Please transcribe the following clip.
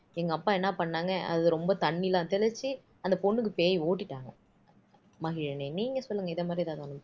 எங்க அப்பா என்ன பண்ணாங்க அது ரொம்ப தண்ணியெல்லாம் தெளிச்சு அந்த பொண்ணுக்கு பேய் ஓட்டிட்டாங்க மகிழினி நீங்க சொல்லுங்க இந்த மாதிரி எதாவது ஒண்ணு